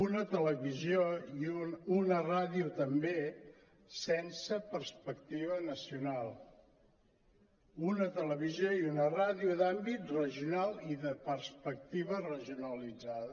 una televisió i una ràdio també sense perspectiva nacional una televisió i una rà·dio d’àmbit regional i de perspectiva regionalitzada